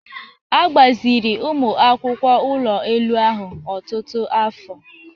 A gbaziri ụmụ akwụkwọ ụlọ elu ahụ ọtụtụ afọ.